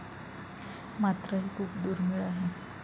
मात्र हे खूप दुर्मिळ आहे.